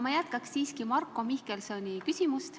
Ma jätkan aga siiski Marko Mihkelsoni küsimust.